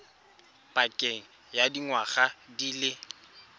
pakeng ya dingwaga di le